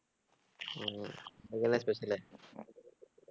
உம் அங்க என்ன special உ